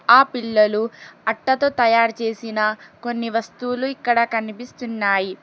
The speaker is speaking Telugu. ఆ పిల్లలు అట్టతో తాయారు చేసిన కొన్ని వస్తువులు ఇక్కడ కనిపిస్తున్నాయి.